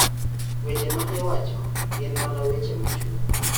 Weche ma iwacho gin mana weche machuok".